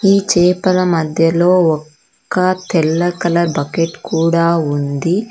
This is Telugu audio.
ఈ చేపల మధ్యలో ఒక్క తెల్ల కలర్ బకెట్ కూడా ఉంది.